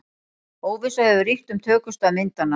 Óvissa hefur ríkt um tökustað myndanna